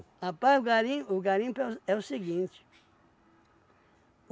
Rapaz, o garim o garimpo é o s é o seguinte.